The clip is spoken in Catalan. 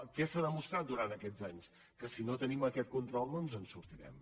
què s’ha demostrat durant aquests anys que si no tenim aquest control no ens en sortirem